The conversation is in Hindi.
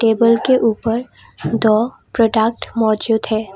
टेबल के ऊपर दो प्रोडक्ट मौजूद है।